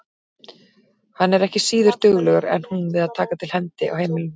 Hann er ekki síður duglegur en hún við að taka til hendi á heimilinu.